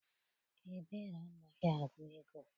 Ebere amaghị agụ ego.